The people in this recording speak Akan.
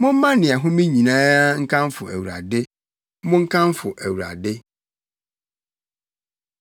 Momma nea ɛhome nyinaa nkamfo Awurade. Monkamfo Awurade.